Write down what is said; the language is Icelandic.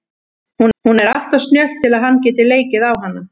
Hún er alltof snjöll til að hann geti leikið á hana.